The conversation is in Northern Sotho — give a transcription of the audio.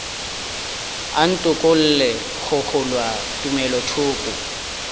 a ntokolle go kgolwa tumelothoko